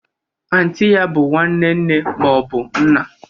Anti ya bụ nwanne nne ma ọ bụ nna.